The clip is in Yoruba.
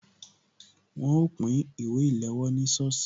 Wọn ó pín ìwé ìléwọ́ ní sọ́ọ̀sì